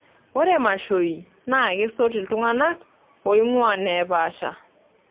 Ore mashoi naa kesot iltung'anak loing'ua neepaasha.